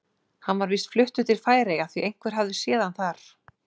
Hann var víst fluttur til Færeyja því einhver hafði séð hann þar.